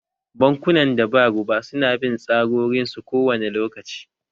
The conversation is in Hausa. Bankunan da ba riba su na bin tsarorin su kowane lokaci